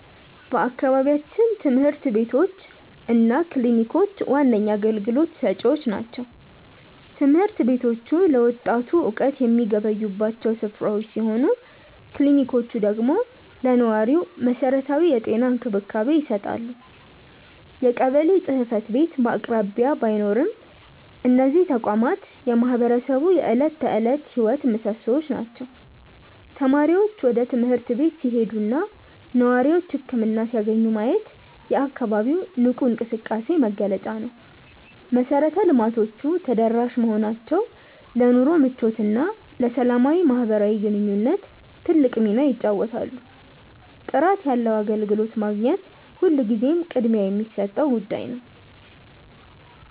በአካባቢያችን ትምህርት ቤቶች እና ክሊኒኮች ዋነኛ አገልግሎት ሰጪዎች ናቸው። ትምህርት ቤቶቹ ለወጣቱ እውቀት የሚገበዩባቸው ስፍራዎች ሲሆኑ፣ ክሊኒኮቹ ደግሞ ለነዋሪው መሰረታዊ የጤና እንክብካቤ ይሰጣሉ። የቀበሌ ጽሕፈት ቤት በአቅራቢያ ባይኖርም፣ እነዚህ ተቋማት የማህበረሰቡ የዕለት ተዕለት ሕይወት ምሶሶዎች ናቸው። ተማሪዎች ወደ ትምህርት ቤት ሲሄዱና ነዋሪዎች ህክምና ሲያገኙ ማየት የአካባቢው ንቁ እንቅስቃሴ መገለጫ ነው። መሰረተ ልማቶቹ ተደራሽ መሆናቸው ለኑሮ ምቾትና ለሰላማዊ ማህበራዊ ግንኙነት ትልቅ ሚና ይጫወታሉ። ጥራት ያለው አገልግሎት ማግኘት ሁልጊዜም ቅድሚያ የሚሰጠው ጉዳይ ነው።